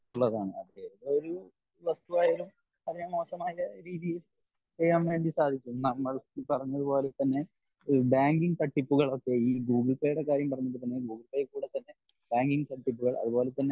എന്നുള്ളതാണ് അത് ഏതൊരു വസ്തു ആയാലും അതിനെ മോശമായ രീതിയിൽ ചെയ്യാൻ വേണ്ടി സാധിക്കും നമ്മൾ പറഞ്ഞ പോലെ തന്നെ ബാങ്കിങ് തട്ടിപ്പുകൾ ഒക്കെ ഈ ഗൂഗിൾ പേ ടെ കാര്യം പറഞ്ഞത് പോലെ തന്നെ ഗൂഗിൾ പേയിൽ കൂടെ തന്നെ ബാങ്കിങ് തട്ടിപ്പുകൾ അതുപോലെ തന്നെ